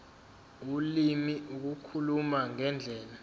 ulimi ukukhuluma ngendlela